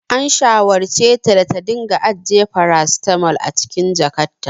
An shawarceta da ta dinga ajiye farasitamol a cikin jakarta.